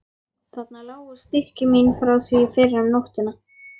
Þarna lágu stykki mín frá því fyrr um nóttina.